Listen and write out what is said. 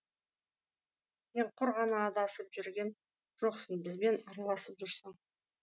сен құр ғана адасып жүрген жоқсың бізбен аралысып жүрсің